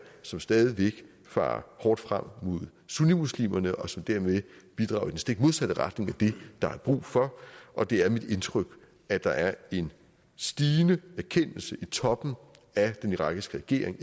som stadig væk farer hårdt frem mod sunnimuslimerne og som dermed bidrager i den stik modsatte retning af det der er brug for og det er mit indtryk at der er en stigende erkendelse i toppen af den irakiske regering